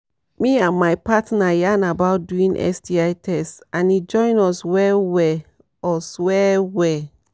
me and my partner yarn about doing sti test and e join us well well us well well